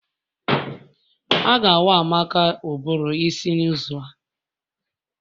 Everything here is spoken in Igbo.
A ga awa Amaka ụbụrụ isi n'izu a